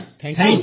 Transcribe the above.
ଧନ୍ୟବାଦ ଧନ୍ୟବାଦ